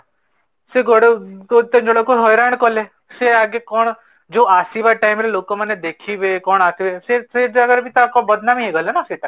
ସେ କେତେ ଜଣଙ୍କୁ ହଇରାଣ ସେମାନେ କା ଯୋଡା ଆସିବା time ରେ ଲୋକ ମାନେ ଦେଖିବେ କଣ ସେ ଜାଗାରେବି ତାଙ୍କ ହେଇଗଲା ନା ସେଇଟା?